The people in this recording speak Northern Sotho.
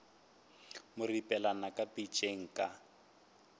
mo ripelela ka pitšeng ka